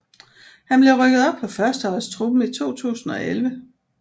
Han blev rykket op på førsteholdstruppen i 2011